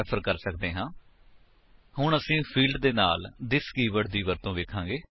ਅਸੀ ਥਿਸ ਦੀ ਵਰਤੋ ਕਰਕੇ ਕੰਸਟਰਕਟਰ ਵਿੱਚ ਵਰਤਮਾਨ ਆਬਜੇਕਟ ਦੇ ਕਿਸੇ ਵੀ ਮੈਂਬਰ ਨੂੰ ਰੈਫਰ ਕਰ ਸੱਕਦੇ ਹਾਂ